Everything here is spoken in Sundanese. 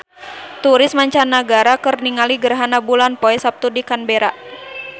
Turis mancanagara keur ningali gerhana bulan poe Saptu di Canberra